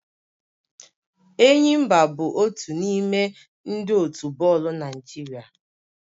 Enyimba bụ otu n'ime ndị otu bọọlụ Naịjirịa